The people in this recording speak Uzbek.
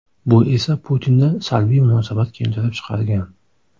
Bu esa Putinda salbiy munosabat keltirib chiqargan.